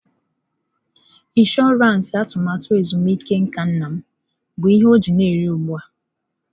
Ịnshọransị atụmatụ ezumike nka nna m bụ ihe ọ ji na eri ugbu a.